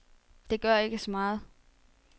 Det gør ikke så meget.